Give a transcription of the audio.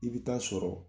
I bɛ taa sɔrɔ